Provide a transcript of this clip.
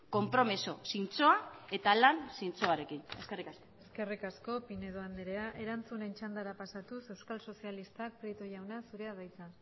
konpromiso zintzoa eta lan zintzoarekin eskerrik asko eskerrik asko pinedo andrea erantzunen txandara pasatuz euskal sozialistak prieto jauna zurea da hitza